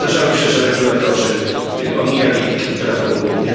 A zdarzało się, że regulatorzy omijali prawo unijne.